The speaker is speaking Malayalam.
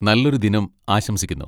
നല്ലൊരു ദിനം ആശംസിക്കുന്നു.